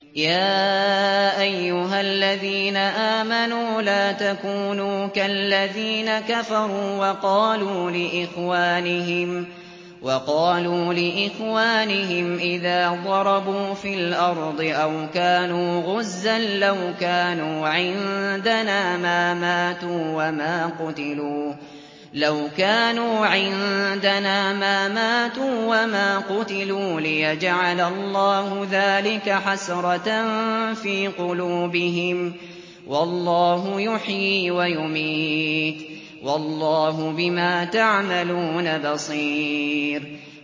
يَا أَيُّهَا الَّذِينَ آمَنُوا لَا تَكُونُوا كَالَّذِينَ كَفَرُوا وَقَالُوا لِإِخْوَانِهِمْ إِذَا ضَرَبُوا فِي الْأَرْضِ أَوْ كَانُوا غُزًّى لَّوْ كَانُوا عِندَنَا مَا مَاتُوا وَمَا قُتِلُوا لِيَجْعَلَ اللَّهُ ذَٰلِكَ حَسْرَةً فِي قُلُوبِهِمْ ۗ وَاللَّهُ يُحْيِي وَيُمِيتُ ۗ وَاللَّهُ بِمَا تَعْمَلُونَ بَصِيرٌ